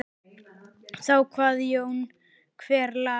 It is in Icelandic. Þá kvað Jón: Hver las?